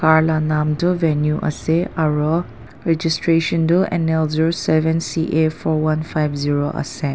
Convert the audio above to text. gar lah nam tu venue ase aro registration toh N L zero seven C A four one five zero ase.